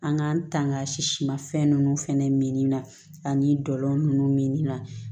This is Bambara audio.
An k'an tanga si sima fɛn ninnu fana min na ani dɔlɔ ninnu min na